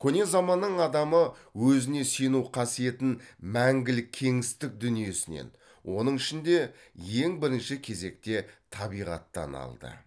көне заманның адамы өзіне сену қасиетін мәңгілік кеңістік дүниесінен оның ішінде ең бірінші кезекте табиғаттан алды